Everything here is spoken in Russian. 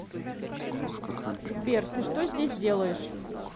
сбер ты что здесь делаешь